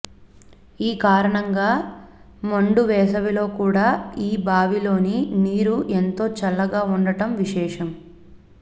ఈ కారణంగా మండు వేసవిలో కూడా ఈ బావిలోని నీరు ఎంతో చల్లగా వుండటం విశేషం